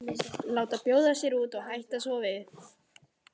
Láta bjóða sér út og hætta svo við.